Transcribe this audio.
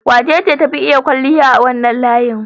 Wacece ta fi iya kwalliya a wannan layin?